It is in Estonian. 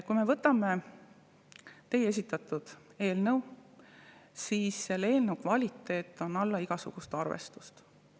Kui me võtame teie esitatud eelnõu, siis selle eelnõu kvaliteet on alla igasugust arvestust.